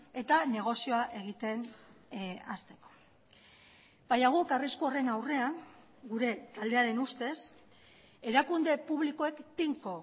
eta negozioa egiten hasteko baina guk arrisku horren aurrean gure taldearen ustez erakunde publikoek tinko